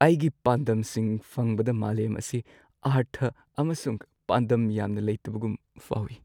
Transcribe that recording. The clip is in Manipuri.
ꯑꯩꯒꯤ ꯄꯥꯟꯗꯝꯁꯤꯡ ꯐꯪꯕꯗ ꯃꯥꯂꯦꯝ ꯑꯁꯤ ꯑꯥꯔꯊ ꯑꯃꯁꯨꯡ ꯄꯥꯟꯗꯝ ꯌꯥꯝꯅ ꯂꯩꯇꯕꯒꯨꯝ ꯐꯥꯎꯏ꯫